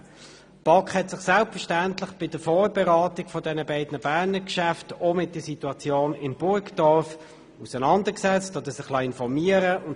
Die BaK hat sich selbstverständlich bei der Vorberatung der beiden Berner Geschäfte auch mit der Situation in Burgdorf auseinandergesetzt und sich informieren lassen.